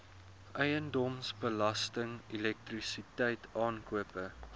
eiendomsbelasting elektrisiteit aankope